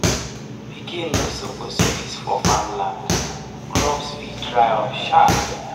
pikin no suppose piss for farm land crops fit dry up sharp.